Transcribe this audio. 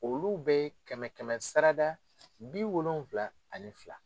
Olu bɛ kɛmɛ kɛmɛ sara da bi wolonwula ani fila.